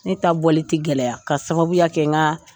Ne ta bɔli tɛ gɛlɛya k'a sababuya kɛ n ka